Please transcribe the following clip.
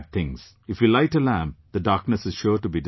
If we light a lamp, the darkness is sure to be dispelled